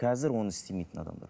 қазір оны істемейтін адамдар